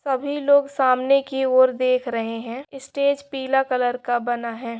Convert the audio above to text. सभी लोग सामने की और देख रहे है ईस्टेज पीला कलर का बना है ।